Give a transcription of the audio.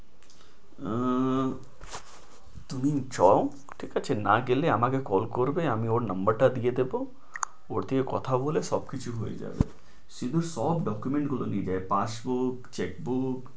আহ তুমি যাও ঠিক আছে না গেলে আমাকে call করবে আমি ওর number টা দিয়ে দেবো ওথে কথা বলে সবকিছু হয়ে যাবে শুধু সব documents গুলো নিয়ে যাবে, passport, check book